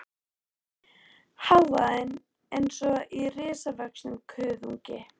Hávaðinn eins og í risavöxnum kuðungi.